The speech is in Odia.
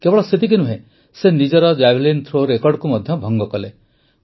କେବଳ ସେତିକି ନୁହେଁ ସେ ନିଜ ଜ୍ୟାଭେଲିନ୍ ଥ୍ରୋ ରେକର୍ଡ଼କୁ ମଧ୍ୟ ଭଙ୍ଗ କଲେ